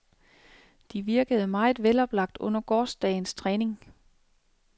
De virkede meget veloplagt under gårsdagens træning.